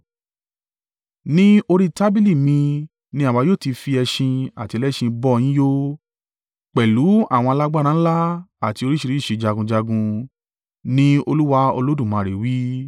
Ní orí tábìlì mi ni àwa yóò ti fi ẹṣin àti ẹlẹ́ṣin bọ yín yó, pẹ̀lú àwọn alágbára ńlá àti oríṣìíríṣìí jagunjagun,’ ni Olúwa Olódùmarè wí.